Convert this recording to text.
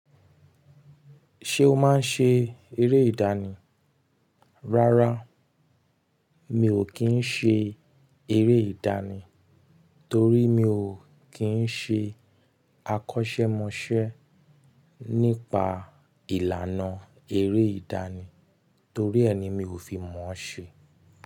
Ṣé o máa ń ṣe eré ìdánì? Rárá, mi ò kí ń ṣe eré ìdánì torí mi ò kí ń ṣe àkọ́ṣẹ́mọṣẹ́ nípa ìlànà eré ìdánì torí ẹ ni mi ò fi mọ̀ ọ́n ṣe.